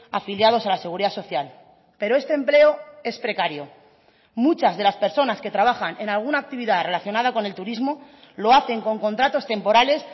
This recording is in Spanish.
afiliados a la seguridad social pero este empleo es precario muchas de las personas que trabajan en alguna actividad relacionada con el turismo lo hacen con contratos temporales